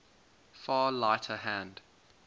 far lighter hand